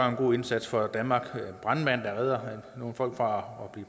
en god indsats for danmark med brandmanden der redder nogle folk fra